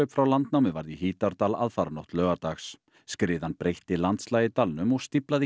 frá landnámi varð í Hítardal aðfaranótt laugardags skriðan breytti landslagi í dalnum og stíflaði